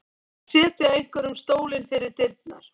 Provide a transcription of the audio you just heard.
Að setja einhverjum stólinn fyrir dyrnar